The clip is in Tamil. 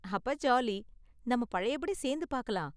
அப்ப ஜாலி, நாம பழைய படி சேர்ந்து பார்க்கலாம்.